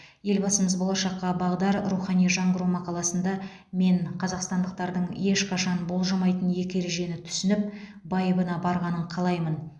елбасымыз болашаққа бағдар рухани жаңғыру мақаласында мен қазақстандықтардың ешқашан бұлжымайтын екі ережені түсініп байыбына барғанын қалаймын